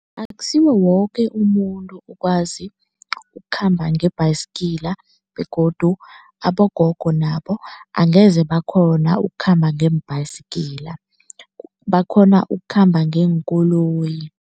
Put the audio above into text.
Akusiwo woke umuntu okwazi ukukhamba nge-bicycle begodu abogogo nabo angeze bakghona ukukhamba ngeem-bicycle. Bakghona ukukhamba ngeenkoloyi.